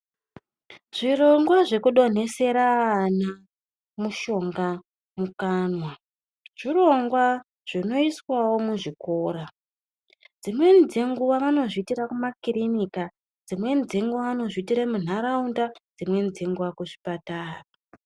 Zvirongwa zvekudonhesera ana mushonga mukanwa zvirongwa zvinoiswawo kuzvikora dzimweni dzenguva vanozviitira kumakirinika dzimweni dzenguva munharaunda dzimweni dzenguva kuzvipatara